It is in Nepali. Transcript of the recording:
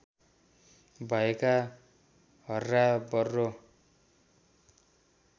भएका हर्रा बर्रो